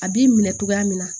A b'i minɛ cogoya min na